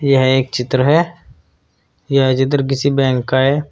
यह एक चित्र है यह चित्र किसी बैंक का है।